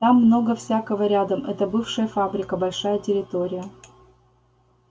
там много всякого рядом это бывшая фабрика большая территория